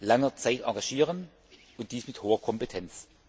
langer Zeit engagieren, und dies mit hoher Kompetenz.